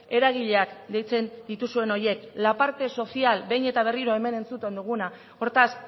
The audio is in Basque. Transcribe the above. eragileak deitzen dituzuen horiek la parte social behin eta berriro hemen entzuten duguna hortaz